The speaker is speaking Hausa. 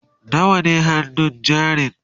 nawa ne hannun jarin?